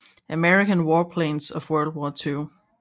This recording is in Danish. American Warplanes of World War II